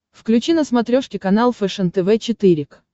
включи на смотрешке канал фэшен тв четыре к